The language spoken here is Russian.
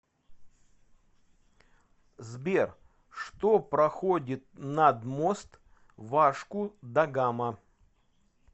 сбер что проходит над мост вашку да гама